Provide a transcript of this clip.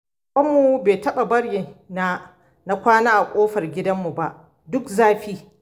Babanmu bai taɓa bari na na kwana a ƙofar gidanmu ba duk zafi.